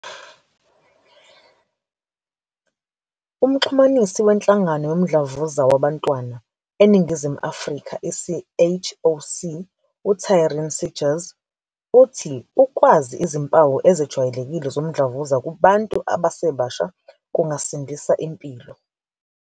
UMxhumanisi weNhlangano Yomdlavuza Wabantwana eNingizimu Afrika, i-CHOC, u-Taryn Seegers uthi ukwazi izimpawu ezejwayelekile zomdlavuza kubantu abasebasha, kungasindisa impilo.